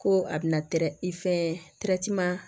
Ko a bɛna i fɛn